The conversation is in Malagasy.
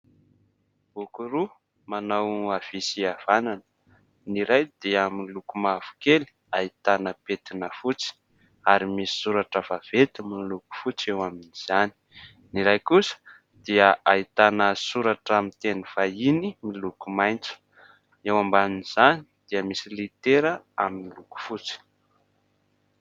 Boky roa manao avia sy avanana. Ny iray dia miloko mavokely ahitana petina fotsy ary misy soratra vavety miloko fotsy eo amin'izany. Ny iray kosa dia ahitana soratra amin'ny teny vahiny miloko maintso. Eo ambanin'izany dia misy litera amin'ny loko fotsy.